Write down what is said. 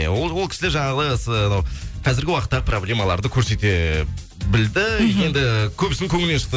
ол ол кісілер жаңағы с анау қазіргі уақыттағы проблемаларды көрсете білді енді көптің көңілінен шықты